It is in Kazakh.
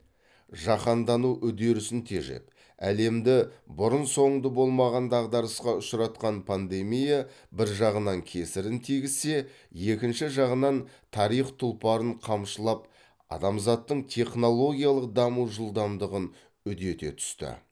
жаһандану үдерісін тежеп әлемді бұрын соңды болмаған дағдарысқа ұшаратқан пандемия бір жағынан кесірін тигізсе екінші жағынан тарих тұлпарын қамшылап адамзаттың технологиялық даму жылдамдығын үдете түсті